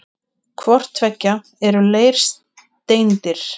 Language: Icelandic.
Hvort tveggja eru leirsteindir.